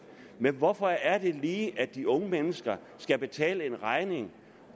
men hvorfor er det lige at de unge mennesker skal betale en regning